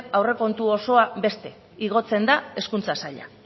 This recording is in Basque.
aurrekontu osoa beste igotzen da hezkuntza sailak